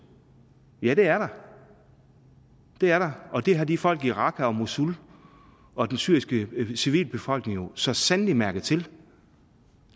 ja det er der og det har de folk i irak og mosul og den syriske civilbefolkning jo så sandelig mærket til